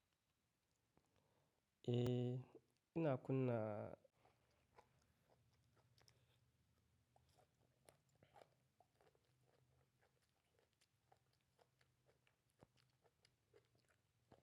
Eh, ina kunna?